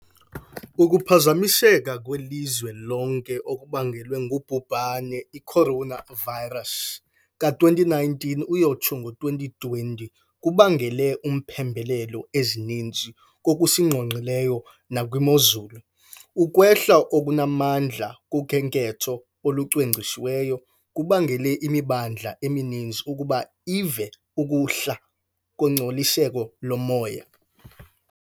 Ukuphazamiseka kwelizwe lonke okubangelwe ngubhubhane i-coronavirus ka-2019-20 kubangele iimpembelelo ezininzi kokusingqonqileyo nakwimozulu. Ukwehla okunamandla kukhenketho olucwangcisiweyo kubangele imimandla emininzi ukuba ive ukuhla kongcoliseko lomoya.